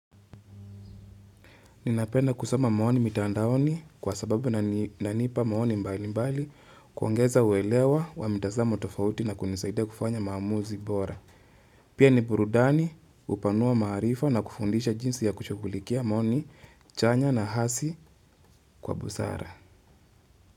Ninapenda kusoma maoni mitandaoni kwa sababu inanipa maoni mbali mbali kuongeza uelewa wa mitazamo tofauti na kunisaidia kufanya maamuzi bora. Pia ni burudani hupanua maarifa na kufundisha jinsi ya kushughulikia maoni, chanya na hasi kwa busara.